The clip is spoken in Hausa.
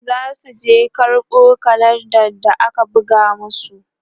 zasu je karɓo kalenda da aka buga masu